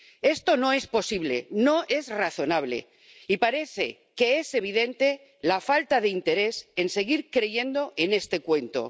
Esto no es posible, no es razonable, y parece que es evidente la falta de interés en seguir creyendo en este cuento.